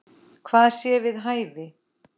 Hvað sé við hæfi.